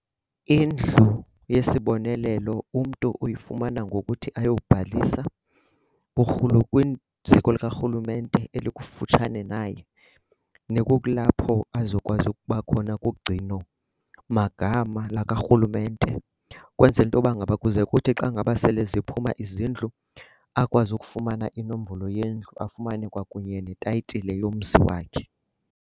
Indlu yesibonelelo umntu uyifumana ngokuthi ayobhalisa kwiziko likarhulumente elikufutshane naye nekulapho azokwazi ukuba khona kugcino magama lakwarhulumente, ukwenzela into yoba ngaba kuze kuthi xa ngaba sele ziphuma izindlu akwazi ukufumana inombolo yendlu afumane kunye netayitile yomzi wakhe.